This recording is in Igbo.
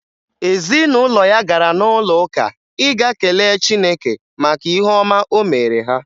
Ezinụlọ ya gara n'ụlọụka ịga kelee chineke maka ihe ọma o mere ha